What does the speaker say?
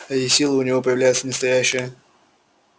и сила у него появляется настоящая